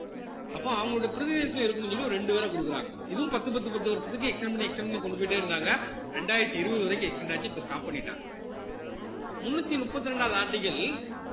அப்போ அவங்களுடைய பிரதிநிதித்துவம் இருக்கணும்னு சொல்லி ஒரு ரெண்டு பேர கொடுக்குறாங்க இதுவும் பத்து பத்து பத்து வருஷத்துக்கு extend பண்ணி extend பண்ணி கொண்டு போயிட்டே இருந்தாங்க இரண்டாயிரத்தி இருபது வரைக்கும் extend ஆச்சு இப்ப stop பண்ணிட்டாங்க முன்னூத்தி முப்பத்தி ரெண்டாவது article